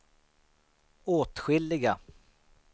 åtskilliga